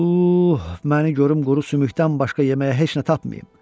Uh, məni görüm quru sümükdən başqa yeməyə heç nə tapmayım.